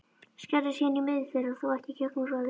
Skerðu síðan í miðju þeirra, þó ekki í gegnum roðið.